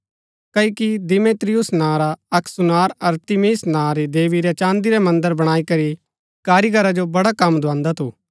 क्ओकि देमेत्रियुस नां रा अक्क सुनार अरतिमिस नां री देवी रै चाँदी रै मन्दर बणाई करी कारीगीरा जो बड़ा कम दुआंदा थु